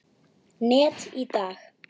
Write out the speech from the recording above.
net í dag?